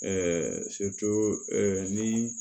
ni